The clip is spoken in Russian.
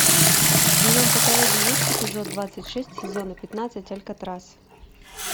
в твоем каталоге есть эпизод двадцать шесть сезона пятнадцать алькатрас